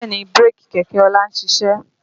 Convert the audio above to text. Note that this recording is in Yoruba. Bẹ́ẹ̀ni bírèkì kẹ̀kẹ́ ọlá ń ṣiṣẹ́